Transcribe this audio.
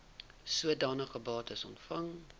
sodanige bates ontvang